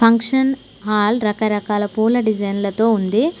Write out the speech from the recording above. Function hall రకరకాల పూల డిజైన్లతో ఉంది.